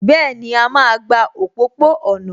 Bẹ́ẹ̀ni, a máa gba òpópó-ọ̀nà